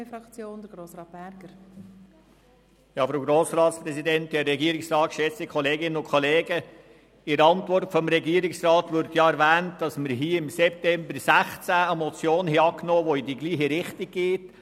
In der Regierungsantwort wird erwähnt, dass wir hier im September 2016 eine Motion angenommen hatten, die in die gleiche Richtung geht: